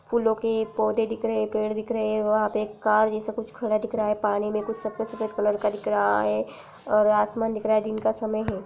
फूलो के पौधे दिख रहे पेड़ दिख रहे और वहाँ पे कार जैसा कुछ खड़ा दिख रहा है। पानी में कुछ सफ़ेद सफ़ेद कलर का दिख रहा है और आसमान दिख रहा है। दिन का समय है।